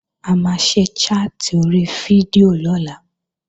A máa ṣe chat ori fídíò lọ́la